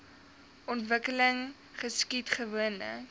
ontwikkeling geskied gewoonlik